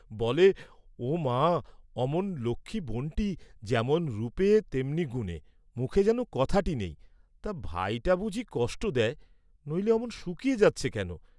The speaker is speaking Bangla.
বলে, "ও মা, অমন লক্ষ্মী বোনটি, যেমন রূপে তেমনি গুণে, মুখে যেন কথাটি নেই; তা ভাইটা বুঝি কষ্ট দেয়, নইলে অমন শুকিয়ে যাচ্ছে কেন?"